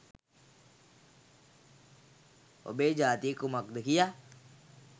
ඔබගේ ජාතිය කුමක්ද කියා